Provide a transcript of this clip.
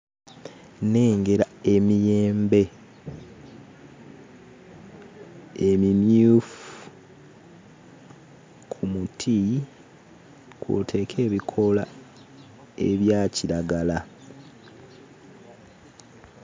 Nnengera emiyembe emimyufu ku muti kw'oteeka ebikoola ebya kiragala.